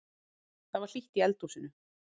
Það var hlýtt í eldhúsinu.